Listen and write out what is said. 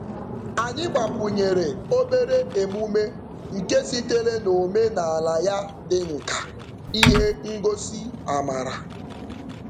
Anyị gbakwunyere obere emume nke sitere n'omenaala ya dị nkà ihe ngosị amara.